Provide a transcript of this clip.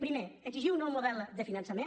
primer exigir un nou model de finançament